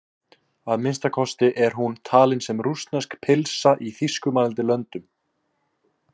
Að minnsta kosti er hún talin sem rússnesk pylsa í þýskumælandi löndum.